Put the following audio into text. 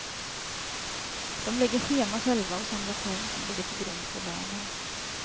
De lägger schema själva och samlar poäng som ligger till grund för lönen.